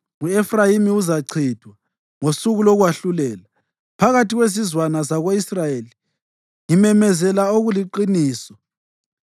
U-Efrayimi uzachithwa ngosuku lokwahlulela. Phakathi kwezizwana zako-Israyeli ngimemezela okuliqiniso.